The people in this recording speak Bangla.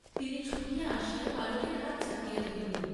তিনি ছুটিয়া আসিয়া বালকের হাত চাপিয়া ধরিলেন।